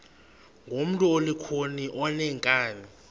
ngumntu olukhuni oneenkani